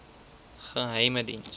geheimediens